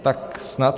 Tak snad...